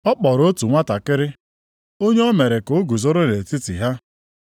Ọ kpọrọ otu nwantakịrị, onye o mere ka o guzoro nʼetiti ha,